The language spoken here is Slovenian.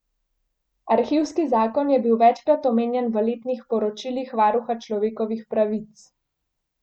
Arhivski zakon je bil večkrat omenjen v letnih poročilih varuha človekovih pravic.